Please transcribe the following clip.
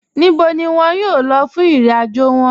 Níbò ni wọn yóò lọ̀ fún ìrìn-àjò wọn?